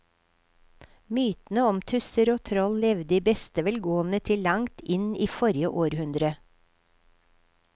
Mytene om tusser og troll levde i beste velgående til langt inn i forrige århundre.